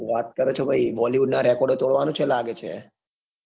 હું વાત કર છ ભઈ bollywood ના record તોડવાનું છે લાગે છ. .